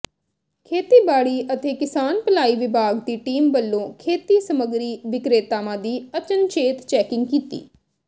ਖੇਤੀਬਾੜੀ ਅਤੇ ਕਿਸਾਨ ਭਲਾਈ ਵਿਭਾਗ ਦੀ ਟੀਮ ਵੱਲੋਂ ਖੇਤੀ ਸਮਗਰੀ ਵਿਕ੍ਰੇਤਾਵਾਂ ਦੀ ਅਚਨਚੇਤ ਚੈਕਿੰਗ ਕੀਤੀ